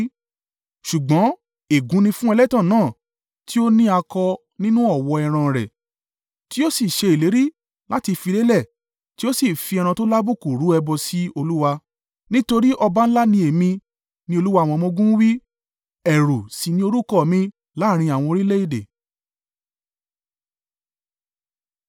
“Ṣùgbọ́n ègún ni fún ẹlẹ́tàn náà, tí ó ni akọ nínú ọ̀wọ́ ẹran rẹ̀, tí ó sì ṣe ìlérí láti fi lélẹ̀ tí ó sì fi ẹran tó lábùkù rú ẹbọ sí Olúwa; nítorí ọba ńlá ni Èmi,” ni Olúwa àwọn ọmọ-ogun wí, “ẹ̀rù sì ni orúkọ mi láàrín àwọn orílẹ̀-èdè.